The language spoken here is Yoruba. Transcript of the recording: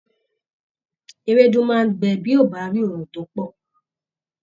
Ewédú máa gbẹ bí ó bá rí oòrùn tó pọ̀.